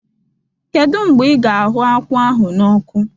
Kedụ mgbe i ga-ahụ akwụ ahụ n'ọkụ?